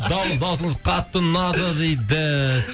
дауысыңыз қатты ұнады дейді